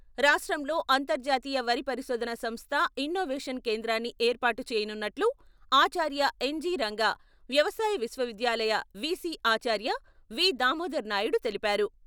రాష్ట్రంలో అంతర్జాతీయ వరి పరిశోధన సంస్థ ఇన్నోవేషన్ కేంద్రాన్ని ఏర్పాటు చేయనున్నట్లు ఆచార్య ఎన్.జి.రంగా వ్యవసాయ విశ్వవిద్యాలయ విసి ఆచార్య వి.దామోదర్ నాయుడు తెలిపారు.